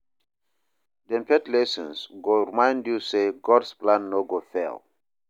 Dem faith lessons go remind yu say God’s plan no go fail.